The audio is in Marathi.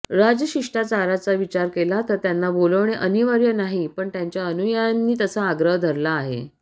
राजशिष्टाचाराचा विचार केला तर त्यांना बोलावणे अनिवार्य नाही पण त्यांच्या अनुयायांनी तसा आग्रह धरला आहे